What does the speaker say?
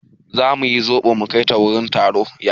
Za mu yi zoɓo mu kai ta wurin taro.